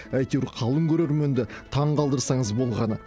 әйтеуір қалың көрерменді таңғалдырсаңыз болғаны